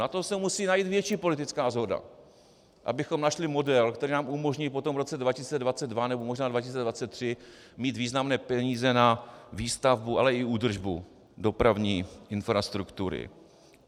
Na to se musí najít větší politická shoda, abychom našli model, který nám umožní potom v roce 2022 nebo možná 2023 mít významné peníze na výstavbu, ale i údržbu dopravní infrastruktury.